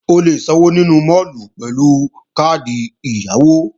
O lè sanwó ní máàlù pẹ̀lú káàdì ẹ̀yáwó